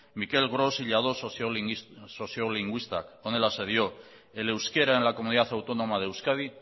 mique gros i lladós soziolinguistak honelaxe dio el euskera en el comunidad autónoma de euskadi